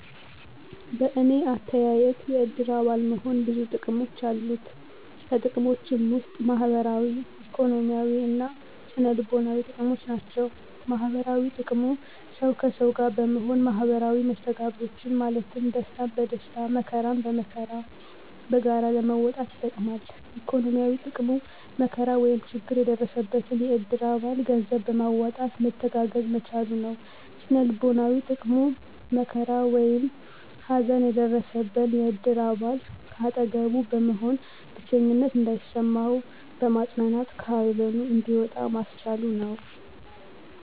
በእኔ አተያየት የእድር አባል መሆን ብዙ ጥቅሞች አሉት። ከጥቅሞችም ውስጥ ማህበራዊ፣ ኢኮኖሚያዊ እና ስነ-ልቦናዊ ጥቅሞች ናቸው። -ማህበራዊ ጥቅሙ፦ ሠው ከሠው ጋር በመሆን ማህበራዊ መስተጋብሮችን ማለትም ደስታን በደስታ መከራን በመከራ በጋራ ለመወጣት ይጠቅማል። -ኢኮኖሚያዊ፦ ጥቅሙ መከራ ወይም ችግር የደረሰበትን የእድር አባል ገንዘብ በማዋጣት መተጋገዝ መቻሉ ነው። -ስነ-ልቦናዊ ጥቅሙ፦ መከራ ወይም ሀዘን የደረሠበን የእድር አባል ከአጠገቡ በመሆን ብቸኝነት እንዳይሠማው በማፅናናት ከሀዘኑ እንዲወጣ ማስቻሉ ነው።